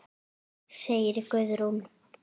segir Guðrún.